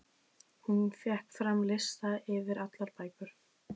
Hún fékk fram lista yfir allar bækur